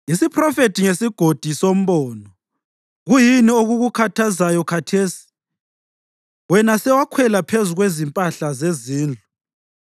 Isiphrofethi ngesiGodi soMbono: Kuyini okukukhathazayo khathesi, wena sewakhwela phezu kwezimpahla zezindlu,